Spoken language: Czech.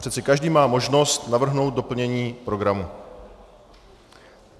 Přece každý má možnost navrhnout doplnění programu.